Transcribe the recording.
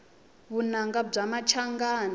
vunanga bya machangani